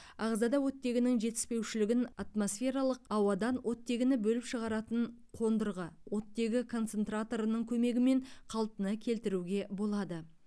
ағзада оттегінің жетіспеушілігін атмосфералық ауадан оттегіні бөліп шығаратын қондырғы оттегі концентраторының көмегімен қалпына келтіруге болады